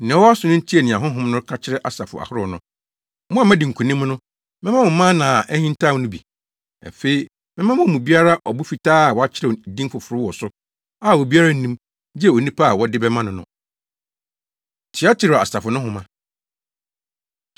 Nea ɔwɔ aso no ntie nea Honhom no ka kyerɛ asafo ahorow no. Mo a moadi nkonim no, mɛma mo mana a ahintaw no bi. Afei, mɛma wɔn mu biara ɔbo fitaa a wɔakyerɛw din foforo wɔ so a obiara nnim, gye onipa a wɔde bɛma no no. Tiatira Asafo No Nhoma